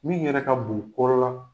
Min yɛrɛ ka bon o balo la,